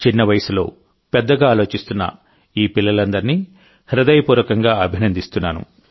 చిన్న వయసులో పెద్దగా ఆలోచిస్తున్న ఈ పిల్లలందరినీ హృదయపూర్వకంగా అభినందిస్తున్నాను